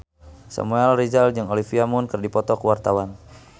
Samuel Rizal jeung Olivia Munn keur dipoto ku wartawan